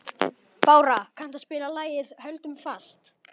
Bára, kanntu að spila lagið „Höldum fast“?